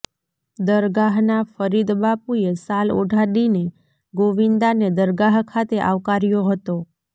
દરગાહના ફરીદબાપુએ શાલ ઓઢાડીને ગોવિંદાને દરગાહ ખાતે આવકાર્યો હતો